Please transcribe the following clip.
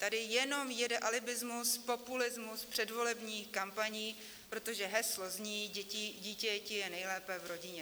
Tady jenom jede alibismus, populismus předvolebních kampaní, protože heslo zní: dítěti je nejlépe v rodině.